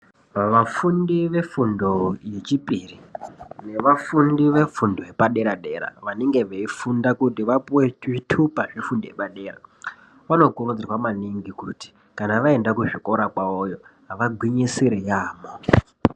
Vafundi vefundo yechipiri nevafundi vefundo yepadera dera vanenge veifunda kuti vapihwe chitupa yefundo yepadera vanokurudzirwa maningi kuti kana vaenda kuzvikora kwavoyo vagwinyisire yampho.